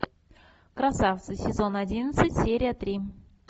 красавцы сезон одиннадцать серия три